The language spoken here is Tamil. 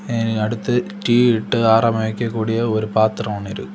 அ அடுத்து டீ இட்டு ஆற அமைக்க கூடிய ஒரு பாத்திரம் இருக்கு.